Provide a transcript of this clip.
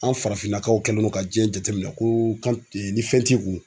An farafinnakaw kɛlen no ka diɲɛ jateminɛ ko ni fɛn t'i kun.